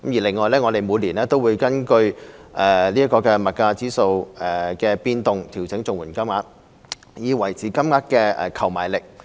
另外，我們每年都會根據物價指數的變動調整綜援金，以維持金額的購買力。